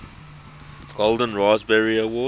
golden raspberry award